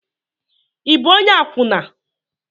Ị bụ onye akwụna?